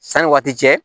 Sanni waati cɛ